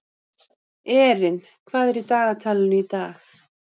Erin, hvað er í dagatalinu í dag?